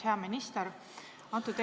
Hea minister!